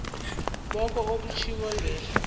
koke okutjhwiwe ngehla